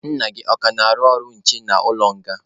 Nna gị ọ ka na-arụ ọrụ nche n'ụlọ nga?